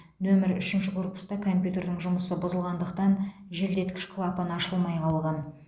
нөмір үшінші корпуста компьютердің жұмысы бұзылғандықтан желдеткіш клапан ашылмай қалған